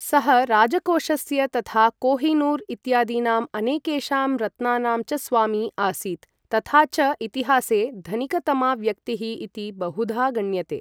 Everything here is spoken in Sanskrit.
सः राजकोषस्य, तथा कोहिनूर् इत्यादीनां अनेकेषां रत्नानां च स्वामी आसीत्, तथा च इतिहासे धनिकतमा व्यक्तिः इति बहुधा गण्यते।